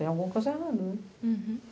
Tem alguma coisa errada, né?